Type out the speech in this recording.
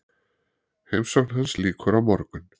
Heimsókn hans lýkur á morgun.